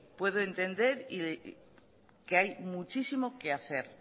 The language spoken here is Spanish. puedo entender que hay muchísimo que hacer